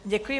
Děkuji.